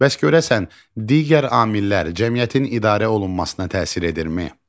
Bəs görəsən, digər amillər cəmiyyətin idarə olunmasına təsir edirmi?